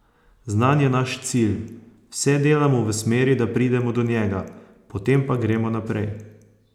Znan je naš cilj, vse delamo v smeri, da pridemo do njega, potem pa gremo naprej.